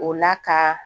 O la ka